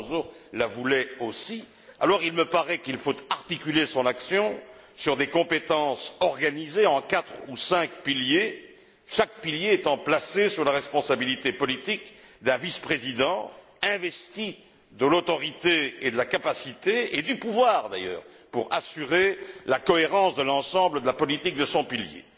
Barroso la voulait aussi alors il me paraît qu'il faut articuler son action sur des compétences organisées en quatre ou cinq piliers, chaque pilier étant placé sous la responsabilité politique d'un vice président investi de l'autorité et de la capacité et du pouvoir d'ailleurs d'assurer la cohérence de l'ensemble de la politique de son pilier.